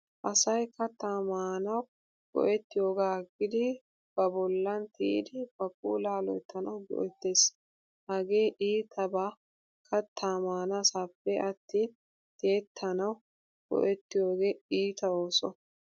Asay kattaa maanawu go'ettiyoogaa aggidi ba bollan tiyidi ba puulaa loyttanawu go'ettes. Hagee iitaba kattaa maanaassape attin tiyettanawu go'ettiyoogee iita ooso.